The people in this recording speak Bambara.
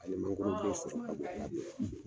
A ye mangoro